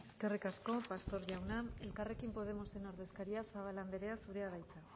eskerrik asko pastor jauna elkarrekin podemosen ordezkaria zabala andrea zurea da hitza